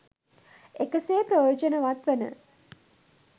එකසේ ප්‍රයෝජනවත් වන